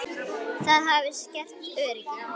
Það hafi skert öryggi.